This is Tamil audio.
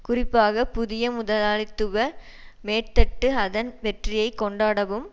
குறிப்பாக புதிய முதலாளித்துவ மேற்தட்டு அதன் வெற்றியை கொண்டாடவும்